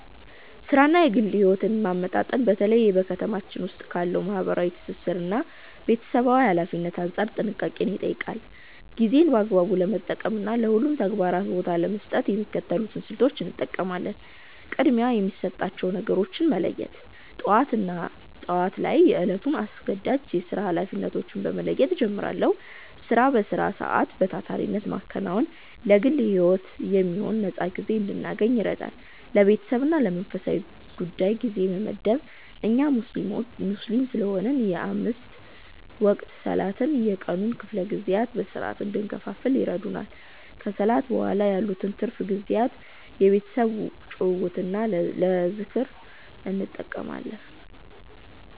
ሥራንና ግል ሕይወትን ማመጣጠን በተለይ በ ከተማችን ዉስጥ ካለው ማህበራዊ ትስስርና ቤተሰባዊ ኃላፊነት አንጻር ጥንቃቄን ይጠይቃል። ጊዜን በአግባቡ ለመጠቀምና ለሁሉም ተግባራት ቦታ ለመስጠት የሚከተሉትን ስልቶች እጠቀማለሁ፦ ቅድሚያ የሚሰጣቸውን ነገሮች መለየት፦ ጠዋት ላይ የዕለቱን አስገዳጅ የሥራ ኃላፊነቶች በመለየት እጀምራለሁ። ሥራን በሥራ ሰዓት በታታሪነት ማከናወን ለግል ሕይወት የሚሆን ነፃ ጊዜ እንድናገኝ ይረዳል። ለቤተሰብና ለመንፈሳዊ ጉዳይ ጊዜ መመደብ፦ እኛ ሙስሊም ስለሆንን የአምስት ወቅት ሰላቶች የቀኑን ክፍለ ጊዜያት በሥርዓት እንድንከፋፍል ይረዱናል። ከሰላት በኋላ ያሉትን ትርፍ ጊዜያት ለቤተሰብ ጭውውትና ለዝክር እጠቀማለሁ።